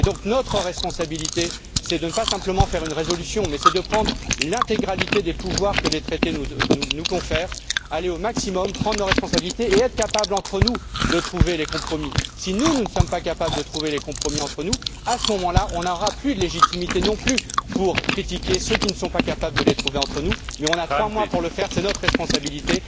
Notre responsabilité, c'est de ne pas voter simplement une résolution, mais c'est de recourir à l'intégralité des pouvoirs que les traités nous confèrent, aller à leur maximum, prendre nos responsabilités et être capables, entre nous, de trouver des compromis. Si nous ne sommes pas capables de trouver entre nous des compromis, à ce moment là, nous n'aurons plus de légitimité non plus pour critiquer ceux qui ne sont pas capables de les trouver, mais nous avons trois mois pour le faire. C'est notre responsabilité,